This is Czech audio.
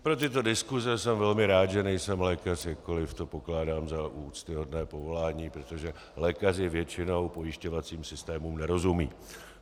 Pro tyto diskuse jsem velmi rád, že nejsem lékař, jakkoli to pokládám za úctyhodné povolání, protože lékaři většinou pojišťovacím systémům nerozumějí.